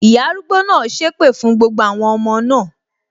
Ìyá arúgbó náà sépè fún gbogbo àwọn ọmọ náà